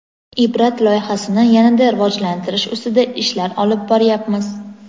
"Ibrat" loyihasini yana-da rivojlantirish ustida ishlar olib boryapmiz.